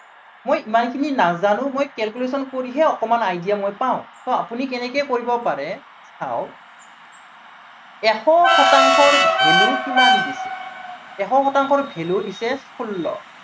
মই ইমানখিনি নাজানো, মই calculation কৰিহে অকনমান idea মই পাও, so আপুনি কেনেকে কৰিব পাৰে চাওক এশ শতাংশৰ value কিমান দিছে, এশ শতাংশৰ value দিছে ষোল্ল।